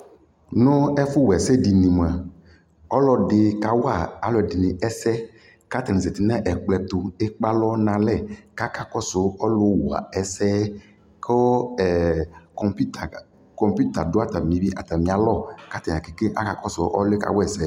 nʋ ɛƒu wɛsɛ dinɛ moa alʋdini kawa aludinɛ ɛsɛ katani zati nu ɛkplɔɛtu kekpealɔ nalɛ kakakɔsu ɔlʋwa ɛsɛɛ ku ɛɛ computer du atamialɔkatani kakɔsu ɔlʋɛ kawa ɛsɛɛ